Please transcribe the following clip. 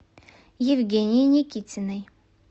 евгении никитиной